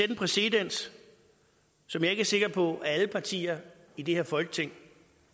præcedens som jeg ikke er sikker på at alle partier i det her folketing